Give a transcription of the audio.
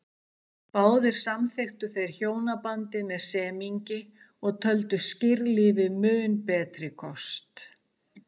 Báðir samþykktu þeir hjónabandið með semingi og töldu skírlífi mun betri kost.